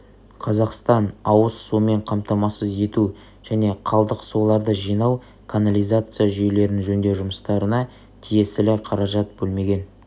қазақстан ауыз сумен қамтамасыз ету және қалдық суларды жинау канализация жүйелерін жөндеу жұмыстарына тиесілі қаражат бөлмеген